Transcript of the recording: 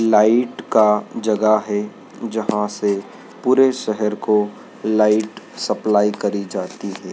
Light का जगह है जहां से पूरे शहर को लाइट सप्लाई करी जाती है।